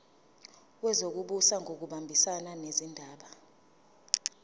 wezokubusa ngokubambisana nezindaba